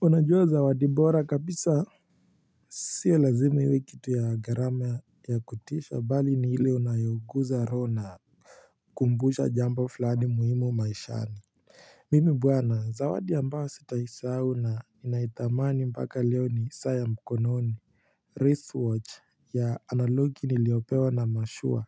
Unajua zawadi bora kabisa sio lazimi iwe kitu ya gharama ya kutisha bali ni ile unayoguza roho na kumbusha jambo flani muhimu maishani Mimi bwana zawadi ambayo sitaisahau na inaithamani mpaka leo ni saa ya mkononi wristwatch ya analogi niliopewa na mashua